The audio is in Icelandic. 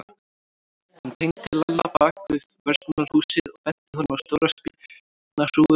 Hann teymdi Lalla bak við verslunarhúsið og benti honum á stóra spýtnahrúgu sem þar lá.